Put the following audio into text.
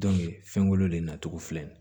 fɛnkolo de nacogo filɛ nin ye